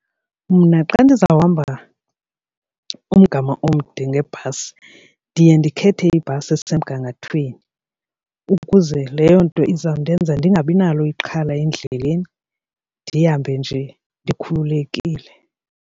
Mna xa ndizawuhamba umgama omde ngebhasi ndiye ndikhethe ibhasi esemgangathweni ukuze leyo nto izawundenza ndingabi nalo ixhala endleleni ndihambe nje ndikhululekile.